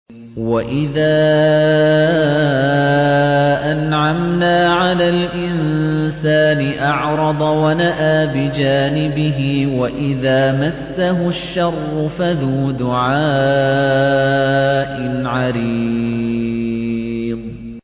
وَإِذَا أَنْعَمْنَا عَلَى الْإِنسَانِ أَعْرَضَ وَنَأَىٰ بِجَانِبِهِ وَإِذَا مَسَّهُ الشَّرُّ فَذُو دُعَاءٍ عَرِيضٍ